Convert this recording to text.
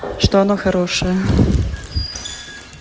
что она хорошая